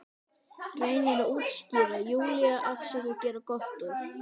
Reynir að útskýra, Júlía, afsaka, gera gott úr.